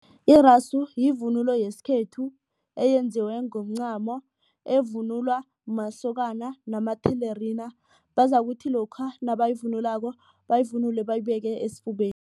Irasu yivunulo yesikhethu eyenziwe ngomncamo evunulwa masokana namathelerina bazokuthi lokha nabayivunulako bayivunule bayibeke esifubeni.